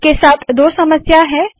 इसके साथ दो समस्या है